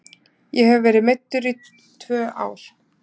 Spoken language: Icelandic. Ég hef verið meiddur í tvö ár.